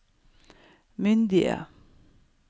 myndige